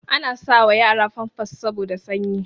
Ana sa wa yara famfas saboda sanyi